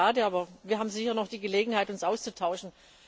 Schade, aber wir haben sicher noch die Gelegenheit, uns auszutauschen.